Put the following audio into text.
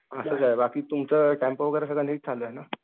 असंच आहे बाकी तुमचं टेम्पो वगैरे नीट चालू आहे ना सगळं?